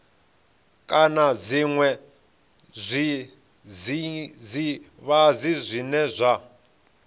kana zwiṅwe zwidzidzivhadzi zwine zwa